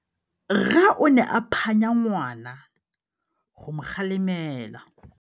Rre o ne a phanya ngwana go mo galemela.